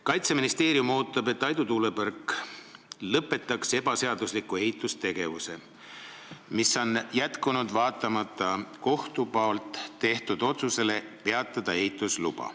Kaitseministeerium ootab, et Aidu tuulepark lõpetaks ebaseadusliku ehitustegevuse, mis on jätkunud vaatamata kohtu tehtud otsusele ehitusluba peatada.